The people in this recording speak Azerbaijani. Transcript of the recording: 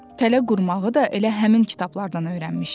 Tələ qurmağı da elə həmin kitablardan öyrənmişdi.